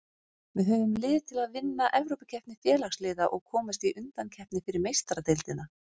Við höfum lið til að vinna Evrópukeppni Félagsliða og komast í undankeppni fyrir Meistaradeildina.